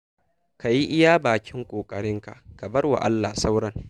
Ka yi iya bakin ƙoƙarinƙa ka bar wa Allah sauran.